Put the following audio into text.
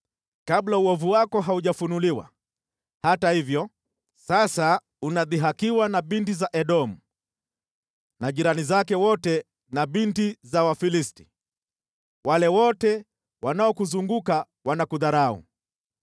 kabla uovu wako haujafunuliwa. Hata hivyo, sasa unadhihakiwa na binti za Edomu na jirani zake wote, na binti za Wafilisti, wale wote wanaokuzunguka wanakudharau.